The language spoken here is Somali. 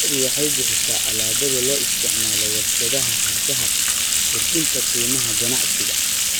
Lo'du waxay bixisaa alaabada loo isticmaalo warshadaha hargaha, kordhinta qiimaha ganacsiga.